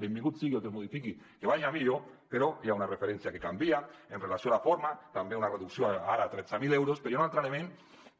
benvingut sigui el que es modifiqui que vagi a millor però hi ha una referència que canvia amb relació a la forma també una reducció ara a tretze mil euros però hi ha un altre element